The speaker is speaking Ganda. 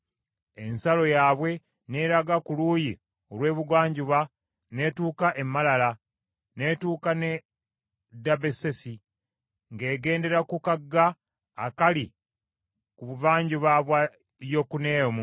Ensalo yaabwe n’eraga ku luuyi olw’ebugwanjuba n’etuuka e Malala, n’etuuka n’e Dabbesesi; ng’egendera ku kagga akali ku buvanjuba bwa Yokuneamu.